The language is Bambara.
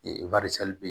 Ee